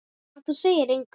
Ef þú segir engum.